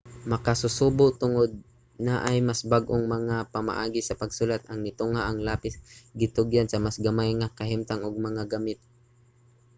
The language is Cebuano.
makasusubo tungod naay mas bag-ong mga pamaagi sa pagsulat ang nitungha ang lapis gitugyan sa mas gamay nga kahimtang ug mga gamit